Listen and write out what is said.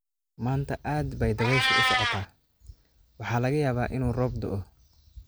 Maanta aad bay dabayshu u socotaa, waxaa laga yaabaa inuu roob da'o.